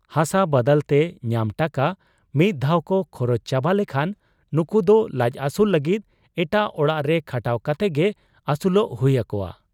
ᱦᱟᱥᱟ ᱵᱟᱫᱟᱞᱛᱮ ᱧᱟᱢ ᱴᱟᱠᱟ ᱢᱤᱫ ᱫᱷᱟᱣᱠᱚ ᱠᱷᱚᱨᱚᱪ ᱪᱟᱵᱟ ᱞᱮᱠᱷᱟᱱ ᱱᱩᱠᱩᱫᱚ ᱞᱟᱡ ᱟᱹᱥᱩᱞ ᱞᱟᱹᱜᱤᱫ ᱮᱴᱟᱜ ᱚᱲᱟᱜ ᱨᱮ ᱠᱷᱟᱴᱟᱣ ᱠᱟᱛᱮᱜᱮ ᱟᱹᱥᱩᱞᱚᱜ ᱦᱩᱭ ᱟᱠᱚᱣᱟ ᱾